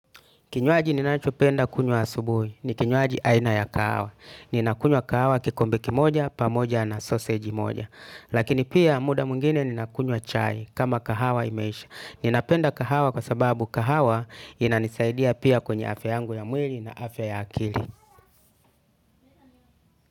Kinywaji ninachopenda kunywa asubuhi. Ni kinywaji aina ya kahawa. Ninakunywa kahawa kikombe kimoja, pamoja na sausage moja. Lakini pia muda mwingine ninakunywa chai kama kahawa imeisha. Ninapenda kahawa kwa sababu kahawa inanisaidia pia kwenye afya yangu ya mwili na afya ya akili.